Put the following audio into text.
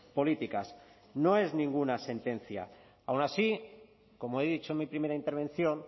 políticas no es ninguna sentencia aun así como he dicho en mi primera intervención